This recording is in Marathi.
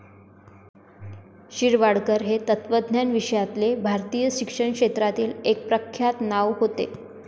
शिरवाडकर हे तत्वज्ञान विषयातले भारतीय शिक्षण क्षेत्रातील एक प्रख्यात नाव होते.